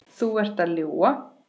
Þú ert að ljúga!